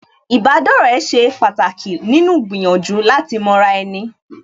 Ìbádọ́rẹ̀ẹ́ ṣe pàtàkì nínú gbìyànjú láti mọra ẹni